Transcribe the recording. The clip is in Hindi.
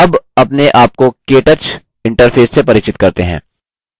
अब अपने आप को केटच interface से परिचित करते हैं